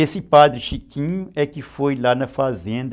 Esse Padre Chiquinho é que foi lá na fazenda...